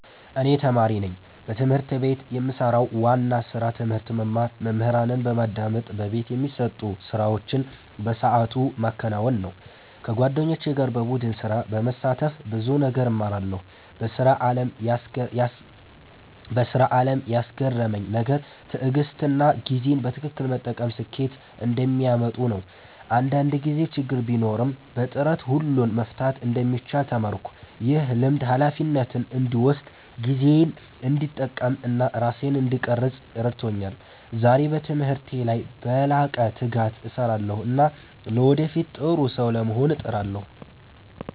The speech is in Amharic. እኔ ተማሪ ነኝ። በትምህርት ቤት የምሰራው ዋና ስራ ትምህርት መማር፣ መምህራንን በማዳመጥ በቤት የሚሰጡ ስራዎችን በሰዓቱ ማከናወን ነው። ከጓደኞቼ ጋር በቡድን ስራ በመሳተፍ ብዙ ነገር እማራለሁ። በስራ አለም ያስገረመኝ ነገር ትዕግሥትና ጊዜን በትክክል መጠቀም ስኬት እንደሚያመጡ ነው። አንዳንድ ጊዜ ችግር ቢኖርም በጥረት ሁሉን መፍታት እንደሚቻል ተማርኩ። ይህ ልምድ ሃላፊነትን እንድወስድ፣ ጊዜዬን እንድጠቀም እና ራሴን እንድቀርፅ ረድቶኛል። ዛሬ በትምህርቴ ላይ በላቀ ትጋት እሰራለሁ እና ለወደፊት ጥሩ ሰው ለመሆን እጥራለሁ።